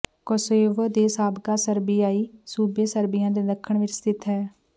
Kosovo ਦੇ ਸਾਬਕਾ ਸਰਬੀਆਈ ਸੂਬੇ ਸਰਬੀਆ ਦੇ ਦੱਖਣ ਵਿਚ ਸਥਿਤ ਹੈ